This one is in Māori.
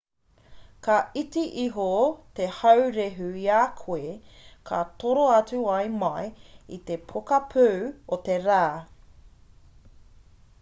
ka iti iho te haurehu i a koe ka toro atu ai mai i te pokapū o te rā